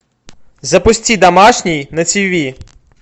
запусти домашний на тв